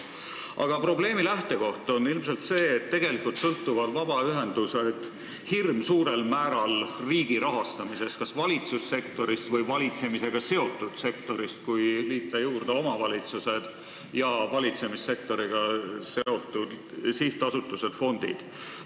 Aga probleemi lähtekoht on ilmselt see, et tegelikult sõltuvad vabaühendused hirmsuurel määral riigi rahastamisest, kas valitsussektorist või valitsemisega seotud sektorist, kui liita juurde omavalitsused ja valitsussektoriga seotud sihtasutused ja fondid.